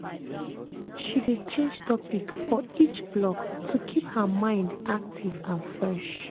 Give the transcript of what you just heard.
She dey change topic for each block to keep her mind happy and fresh